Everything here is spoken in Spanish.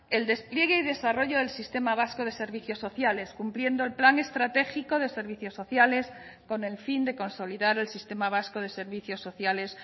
el despliegue y desarrollo del sistema vasco de servicios sociales cumpliendo el plan estratégico de servicios sociales con el fin de consolidar el sistema vasco de servicios sociales